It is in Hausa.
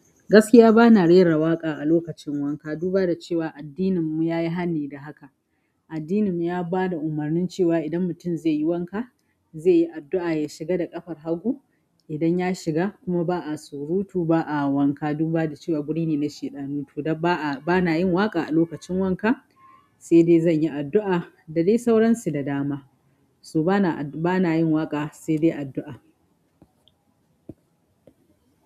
Gaskiya bana rare waƙa a lokacin wanka duba da cewa addinin mu yayi hani da haka addinin mu ya ba da umarnin cewa idan mutum zai yi wanka, zai yi addu'a ya shiga da ƙafar hagu. Idan ya shiga kuma ba a surutu, ba a wanka, duba da cewa guri ne na sheɗanu ni to dan ba'a, bana yin waƙa a lokacin wanka, sai dai zan yi addu'a, da dai sauransu da dama. So bana, bana yin waƙa sai dai addu'a.